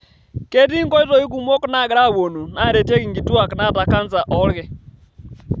Ketii nkoitoi kumok naagira apuonu naretieki nkituak naata kansa oolki.